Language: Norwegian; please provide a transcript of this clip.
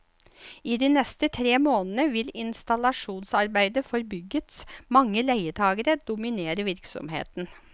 I de neste tre månedene vil installasjonsarbeider for byggets mange leietagere dominere virksomheten.